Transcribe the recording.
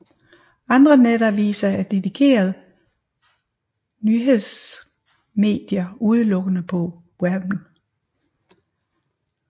Andre netaviser er dedikerede nyhedsmedier udelukkende på webben